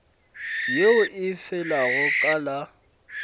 yeo e felago ka la